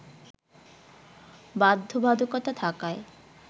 বাধ্যবাধকতা থাকায়